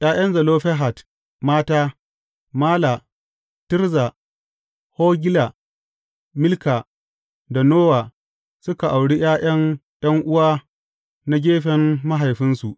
’Ya’yan Zelofehad mata, Mala, Tirza, Hogla, Milka da Nowa, suka auri ’ya’yan ’yan’uwa na gefen mahaifinsu.